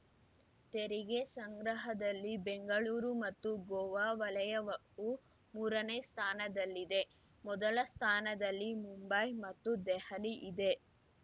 ತೆರಿಗೆ ಸಂಗ್ರಹದಲ್ಲಿ ಬೆಂಗಳೂರು ಮತ್ತು ಗೋವಾ ವಲಯವವು ಮೂರನೇ ಸ್ಥಾನದಲ್ಲಿದೆ ಮೊದಲ ಸ್ಥಾನದಲ್ಲಿ ಮುಂಬೈ ಮತ್ತು ದೆಹಲಿ ಇದೆ